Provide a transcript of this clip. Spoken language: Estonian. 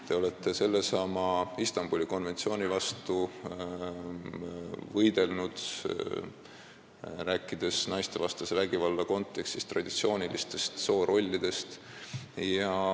Te olete ka Istanbuli konventsiooni vastu võidelnud, rääkides naistevastase vägivalla kontekstis traditsioonilistest soorollidest.